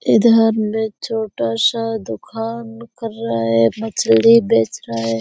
इधर में छोटा सा दुकान कर रहा है मछली बेच रहा है ।